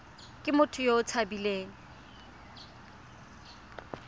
ke motho yo o tshabileng